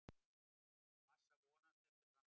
Massa vonast eftir framförum